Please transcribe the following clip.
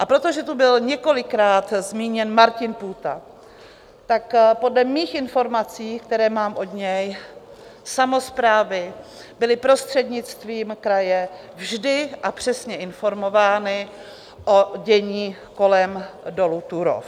A protože tu byl několikrát zmíněn Martin Půta, tak podle mých informací, které mám od něj, samosprávy byly prostřednictvím kraje vždy a přesně informovány o dění kolem dolu Turów.